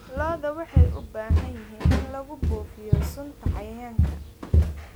Lo'da waxay u baahan yihiin in lagu buufiyo sunta cayayaanka.